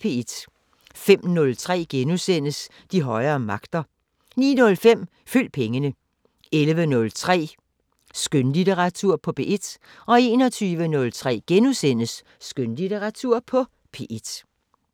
05:03: De højere magter * 09:05: Følg pengene 11:03: Skønlitteratur på P1 21:03: Skønlitteratur på P1 *